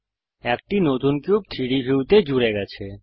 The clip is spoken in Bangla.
একটি নতুন কিউব 3ডি ভিউতে জুড়ে গেছে